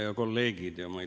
Head kolleegid!